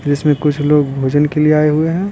इसमें कुछ लोग भोजन के लिए आए हुए हैं।